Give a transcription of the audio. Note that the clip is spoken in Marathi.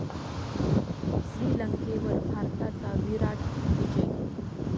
श्रीलंकेवर भारताचा 'विराट' विजय